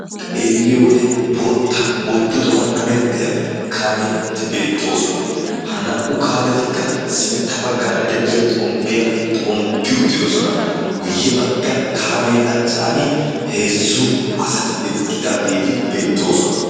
Xeelliyo wode bootta oyddo tohuwan hemettiya kaametti beettoosona. Ha naa'u kaametikka sintta baggaara de'iya xomppiyaa xomppi uttidosona. Guyye bagga kaamee achchan heezzu asati eqqidaageeti beettoosona.